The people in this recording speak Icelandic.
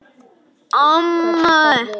Ég reyndi að hugsa skýrt.